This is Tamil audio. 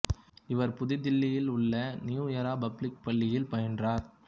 இவர் புதுதில்லியில் உள்ள நியூ எரா பப்ளிக் பள்ளியில் பயின்றார்